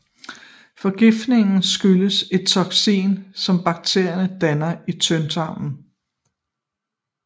Forgiftningen skyldes et toksin som bakterierne danner i tyndtarmen